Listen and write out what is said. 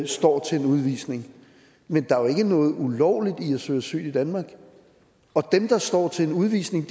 står til en udvisning men der er jo ikke noget ulovligt i at søge asyl i danmark og dem der står til en udvisning